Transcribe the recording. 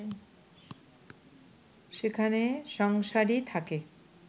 সেখানে সংসারী থাকে